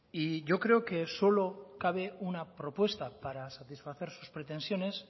y yo creo que solo cabe una propuesta para satisfacer sus pretensiones